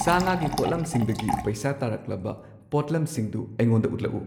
ꯁꯥ ꯉꯥꯒꯤ ꯄꯣꯠꯂꯝꯁꯤꯡꯗꯒꯤ ꯄꯩꯁꯥ ꯇꯥꯔꯛꯂꯕ ꯄꯣꯠꯂꯝꯁꯤꯡꯗꯨ ꯑꯩꯉꯣꯟꯗ ꯎꯠꯂꯛꯎ꯫